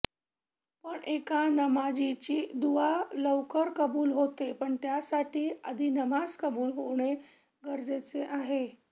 पण एका नमाजीची दुवा लवकर कबूल होते पण त्यासाठी आधी नमाज कबूल होणे गरजेचे आहे